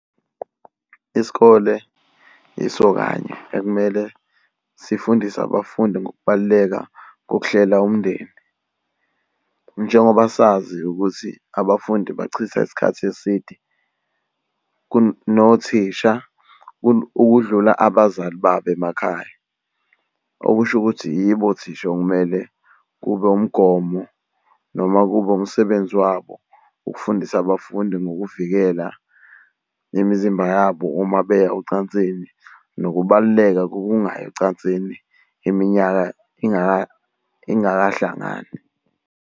Isikole yiso kanye ekumele sifundise abafundi ngokubaluleka kokuhlela umndeni njengoba sazi ukuthi abafundi bachitha isikhathi eside nothisha ukudlula abazali babo emakhaya. Okusho ukuthi yibo othisha okumele kube wumgomo noma kube umsebenzi wabo ukufundisa abafundi ngokuvikela nemizimba yabo uma beya ocansini nokubaluleka kokungayi ocansini iminyaka ingakahlangani.